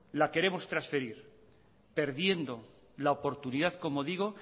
la queremos transferir perdiendo la oportunidad como digo